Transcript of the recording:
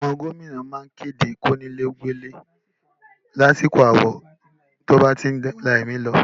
Àwọn gómìnà má ń kéde kí onílé ó gbélé lásìkò áwọ̀ tó bá ti ń la ẹ̀mí lọ